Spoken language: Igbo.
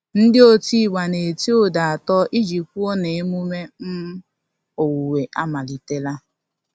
Ndị otigba na-eti ụda atọ iji kwụo na emume um owuwe amalitela.